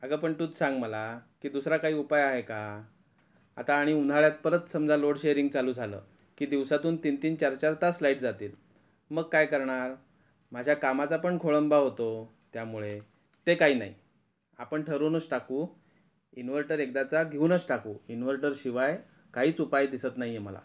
अग पण तूच सांग मला कि दुसरा काही उपाय आहे का आता आणि उन्हाळ्यात परत समजा लोडशेरिंग चालू झालं कि दिवसातून तीन तीन चार चार तास लाईट जातील मग काय करणार माझ्या कामाचा पण खोळंबा होतो त्या मुळे ते काही नाही आपण ठरवूनच टाकू इन्व्हर्टर एकदाचा घेऊनच टाकू इन्व्हर्टर शिवाय काहीच उपाय दिसत नाही आहे मला.